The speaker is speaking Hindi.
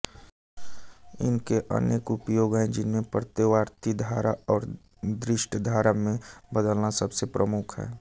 इनके अनेक उपयोग हैं जिनमें प्रत्यावर्ती धारा को दिष्ट धारा में बदलना सबसे प्रमुख है